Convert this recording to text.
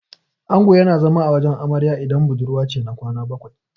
Ango yana zama a wajen amarya idan budurwa ce, na kwana bakwai.